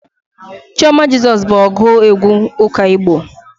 Chioma Jesus bụ ọgụ egwu ụka Igbo.